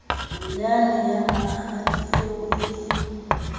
yane ya mahadi eo e